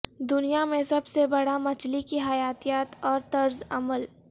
دنیا میں سب سے بڑا مچھلی کی حیاتیات اور طرز عمل